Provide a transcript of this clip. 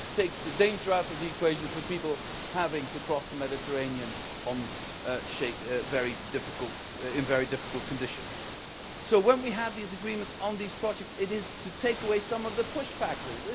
It takes the danger out of the equation for people having to cross the Mediterranean in very difficult conditions. So when we have these agreements on these projects, it is to take away some of the push factors.